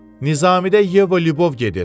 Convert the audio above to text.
Nizamidə Yeva Lyubov gedir.